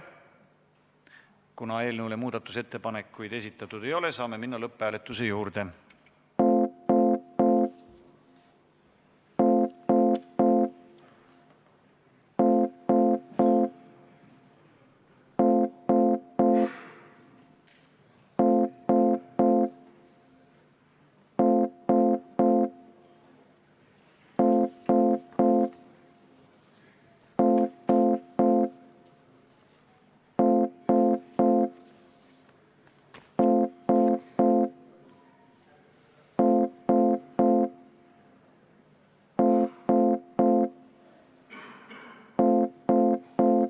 Eelnõu kohta on esitatud ka üks muudatusettepanek, selle on esitanud riigikaitsekomisjon ja juhtivkomisjoni seisukoht on arvestada ettepanekut täielikult.